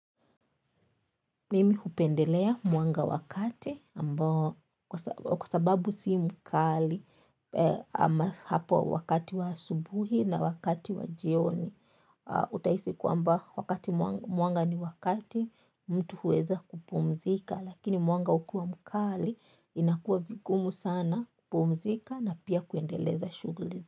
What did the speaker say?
Mimi hupendelea mwanga wa kati kwa sababu si mkali hapo wakati wa subuhi na wakati wa jioni. Utahisi kwamba wakati mwanga ni wa kati mtu huweza kupumzika lakini mwanga ukiwa mkali inakuwa vigumu sana kupumzika na pia kuendeleza shuguli.